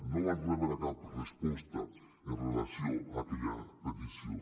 no vam rebre cap resposta amb relació a aquella petició